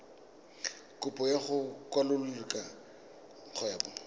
kopo ya go kwalolola kgwebo